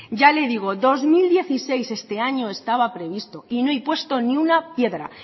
ya lo digo dos mil dieciséis este año estaba previsto y no hay puesto ni una piedra